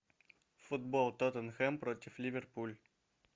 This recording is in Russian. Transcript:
футбол тоттенхэм против ливерпуль